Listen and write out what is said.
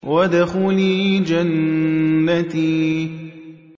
وَادْخُلِي جَنَّتِي